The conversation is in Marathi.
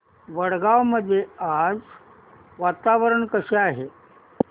वडगाव मध्ये आज वातावरण कसे आहे